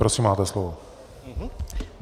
Prosím, máte slovo.